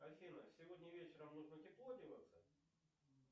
афина сегодня вечером нужно тепло одеваться